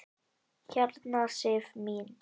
Hérna Sif mín.